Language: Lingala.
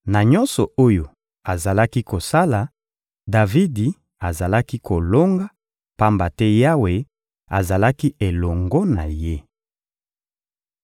Na nyonso oyo azalaki kosala, Davidi azalaki kolonga, pamba te Yawe azalaki elongo na ye.